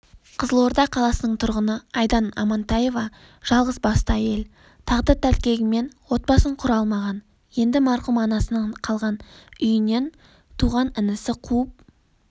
қызылорда қаласының тұрғыны айдан амантаева жалғыз басты әйел тағдыр тәлкегімен отбасын құра алмаған енді марқұм анасынан қалған үйінен туған інісі қуып